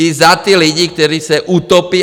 I za ty lidi, kteří se utopí.